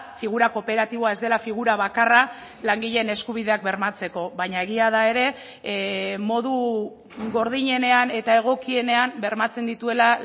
figura kooperatiboa ez dela figura bakarra langileen eskubideak bermatzeko baina egia da ere modu gordinenean eta egokienean bermatzen dituela